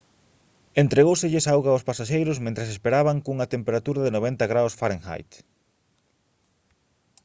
entregóuselles auga aos pasaxeiros mentres esperaban cunha temperatura de 90 °f